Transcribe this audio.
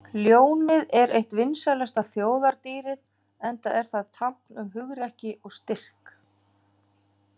Ljónið er eitt vinsælasta þjóðardýrið enda er það tákn um hugrekki og styrk.